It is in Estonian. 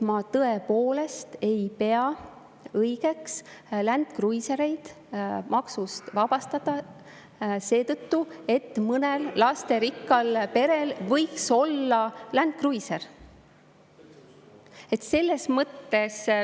Ma tõepoolest ei pea õigeks Land Cruisereid maksust vabastada seetõttu, et mõnel lasterikkal perel võiks olla Land Cruiser.